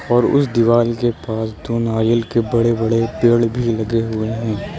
और उस दीवाल के पास दो नारियल के बड़े बड़े पेड़ भी लगे हुए हैं।